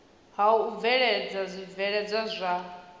ha u bveledza zwibveledzwa zwa